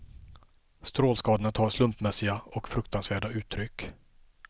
Strålskadorna tar slumpmässiga och fruktansvärda uttryck.